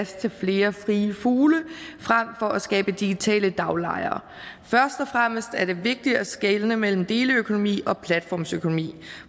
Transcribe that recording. til flere frie fugle frem for at skabe digitale daglejere først og fremmest er det vigtigt at skelne mellem deleøkonomi og platformsøkonomi